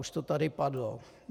Už to tady padlo.